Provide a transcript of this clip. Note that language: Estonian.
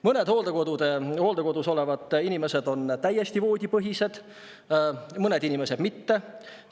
Mõned hooldekodus olevad inimesed on voodi, mõned inimesed mitte.